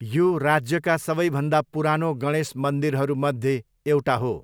यो राज्यका सबैभन्दा पुरानो गणेश मन्दिरहरूमध्ये एउटा हो।